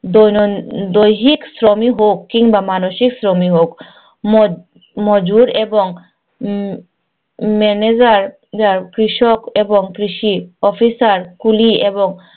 দৈন দৈহিক শ্রমই হোক কিমবা মানসিক শ্রমই হোক। মজ~ মজুর এবং manager আর, কৃষক এবং কৃষি officer কুলি এবং